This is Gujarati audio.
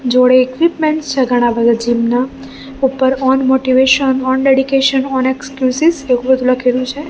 જોડે ઇક્વિપમેન્ટ્સ છે ઘણા બધા જીમ ના ઉપર on motivation on dedication on excuses એવુ બધું લખેલુ છે.